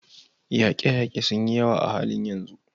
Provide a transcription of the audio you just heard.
Yaƙe-yaƙe sun yi yawa a halin yanzu.